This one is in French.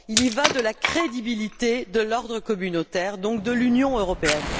Il y va de la crédibilité de l'ordre communautaire, donc de l'Union européenne.